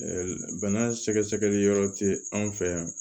Ɛɛ bana sɛgɛsɛgɛli yɔrɔ tɛ an fɛ yan